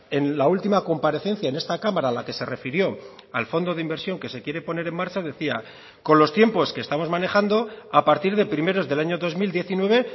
en la última comparecencia en esta cámara a la que se refirió al fondo de inversión que se quiere poner en marcha decía con los tiempos que estamos manejando a partir de primeros del año dos mil diecinueve